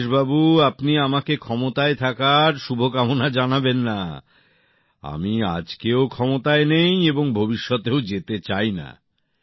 রাজেশবাবু আপনি আমাকে ক্ষমতায় থাকার শুভকামনা জানাবেন না আমি আজকেও ক্ষমতায় নেই এবং ভবিষ্যতেও যেতে চাই না